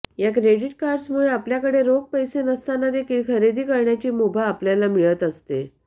या credit cards मुळे आपल्याकडे रोख पैसे नसताना देखील खरेदी करण्याची मुभा आपल्याला मिळत असते